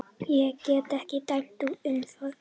Ég get ekki dæmt um það.